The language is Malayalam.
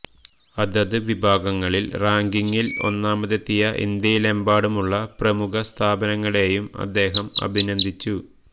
അതത് വിഭാഗങ്ങളില് റാങ്കിംഗില് ഒന്നാമതെത്തിയ ഇന്ത്യയിലെമ്പാടുമുള്ള എല്ലാ പ്രമുഖ സ്ഥാപനങ്ങളെയും അദ്ദേഹം അഭിനന്ദിച്ചു